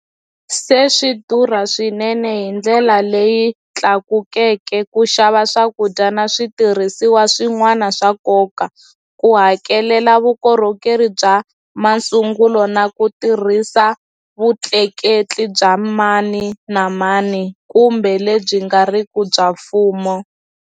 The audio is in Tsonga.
Se swi durha swinene hi ndlela leyi tlakukeke ku xava swakudya na switirhisiwa swin'wana swa nkoka, ku hakelela vukorhokeri bya masungulo na ku tirhisa vutleketli bya mani na mani kumbe lebyi nga riki bya mfumo.